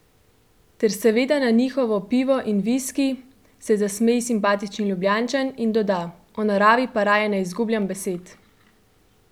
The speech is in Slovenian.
Ter seveda na njihovo pivo in viski," se zasmeji simpatični Ljubljančan in doda: "O naravi pa raje ne izgubljam besed.